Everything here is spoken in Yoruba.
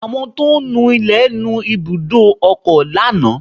Àwọn tó ń nu ilẹ̀ nu ibùdó ọkọ̀ lánàá